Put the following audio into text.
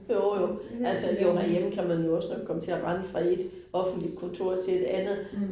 Jo jo, altså jo herhjemme kan man jo også nok komme til at rende fra et offentligt kontor til et andet